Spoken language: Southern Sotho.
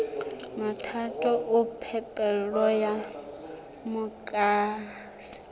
mathata a phepelo ya motlakase